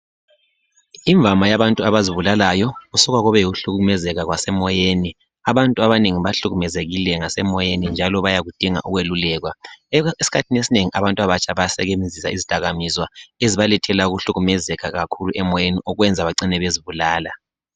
Imvama yabantu abazibulalayo kusuka kube yikuhlukumezeka kwasemoyeni . Abantu abanengi bahlukumezekile ngasemoyeni njalo bayakudinga ukwelulekwa . Eskhathini esinengi abantu abatsha bayasebenzisa izidakamizwa ezibalethela ukuhlukumezeka kakhulu emoyeni okwenza bacine bezibulala.